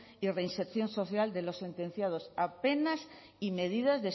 y reinserción social de los sentenciados a penas y medidas